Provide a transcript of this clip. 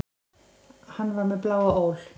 Hann var með bláa ól.